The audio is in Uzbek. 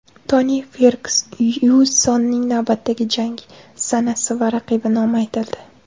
Toni Fergyusonning navbatdagi jangi sanasi va raqibi nomi aytildi.